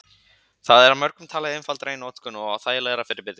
Það er af mörgum talið einfaldara í notkun og þægilegra fyrir byrjendur.